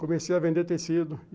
Comecei a vender tecido.